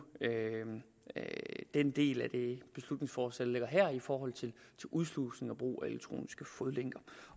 den del af det beslutningsforslag der ligger her i forhold til udslusning og brug af elektroniske fodlænker